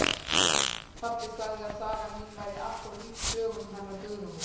Pabbi sagði að sagan mín væri allt of lík sögunum hennar Guðrúnar